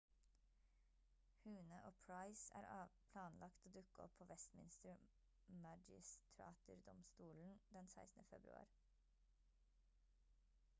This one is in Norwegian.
huhne og pryce er planlagt å dukke opp på westminster magistrater-domstolen den 16. februar